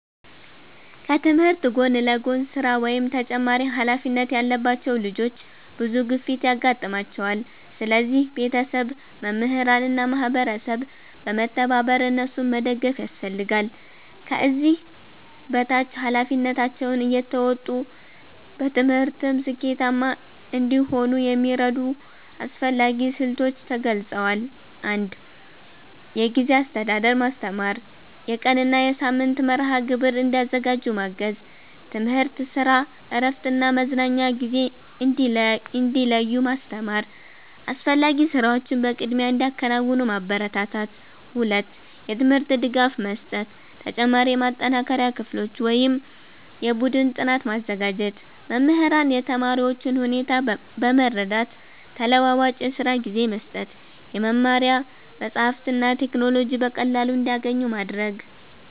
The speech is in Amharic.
ከትምህርት ጎን ለጎን ስራ ወይም ተጨማሪ ኃላፊነት ያለባቸው ልጆች ብዙ ግፊት ያጋጥማቸዋል። ስለዚህ ቤተሰብ፣ መምህራን እና ማህበረሰብ በመተባበር እነሱን መደገፍ ያስፈልጋል። ከዚህ በታች ኃላፊነታቸውን እየተወጡ በትምህርትም ስኬታማ እንዲሆኑ የሚረዱ አስፈላጊ ስልቶች ተገልጸዋል። 1. የጊዜ አስተዳደር ማስተማር የቀን እና የሳምንት መርሃ ግብር እንዲያዘጋጁ ማገዝ። ትምህርት፣ ስራ፣ እረፍት እና መዝናኛ ጊዜ እንዲለዩ ማስተማር። አስፈላጊ ስራዎችን በቅድሚያ እንዲያከናውኑ ማበረታታት። 2. የትምህርት ድጋፍ መስጠት ተጨማሪ የማጠናከሪያ ክፍሎች ወይም የቡድን ጥናት ማዘጋጀት። መምህራን የተማሪዎቹን ሁኔታ በመረዳት ተለዋዋጭ የስራ ጊዜ መስጠት። የመማሪያ መጻሕፍትና ቴክኖሎጂ በቀላሉ እንዲያገኙ ማድረግ።